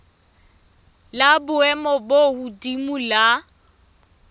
la boemo bo hodimo la